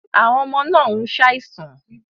Àwọn ọmọ náà ń ṣàìsàn